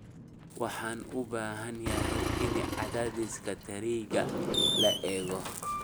Waxaan u baahanahay in cadaadiska taayirka la eego